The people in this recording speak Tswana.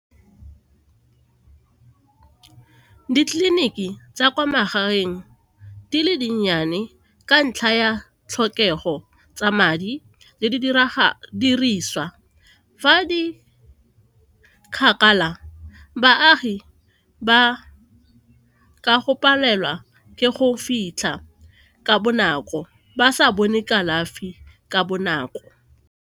Ditleliniki tsa kwa magaeng di le dinnyane ka ntlha ya tlhokego tsa madi le diriswa fa di kgakala baagi ba ka go palelwa ke go fitlha ka bonako ba sa bone kalafi ka bonako.